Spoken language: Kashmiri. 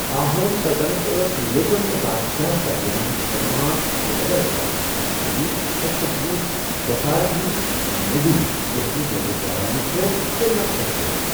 آہوم سلطنت ٲس لوٗکن تہٕ بادشاہس درمِیان خٕدمات ادلہٕ بَدل کرنس پٮ۪ٹھ مبنی، اَکہِ قٕسمٕچ بٮ۪گارِ ہِنٛز موٚزورۍ یۄسہٕ نہٕ جٲگیٖردارانہٕ چھےٚ تہٕ نہ ایشیٲیی۔